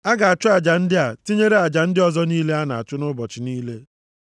A ga-achụ aja ndị a, tinyere aja ndị ọzọ niile a na-achụ nʼụbọchị niile.